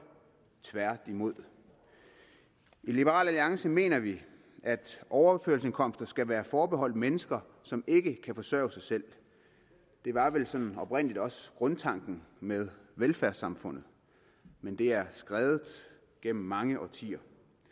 tværtimod i liberal alliance mener vi at overførselsindkomster skal være forbeholdt mennesker som ikke kan forsørge sig selv det var vel sådan set oprindeligt også grundtanken med velfærdssamfundet men det er skredet gennem mange årtier